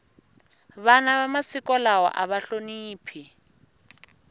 vana va masiku lawa ava hloniphi